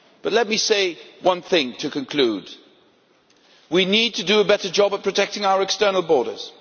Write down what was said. Let me say one thing to conclude. We need to do a better job of protecting our external borders.